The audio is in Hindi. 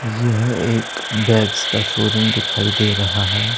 यह एक बैग्स का शोरूम दिखाई दे रहा है।